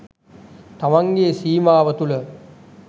තමන්ගේ සීමාව තුළ